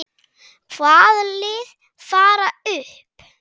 Hvaða lið fara upp?